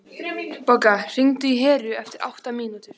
Bogga, hringdu í Heru eftir átta mínútur.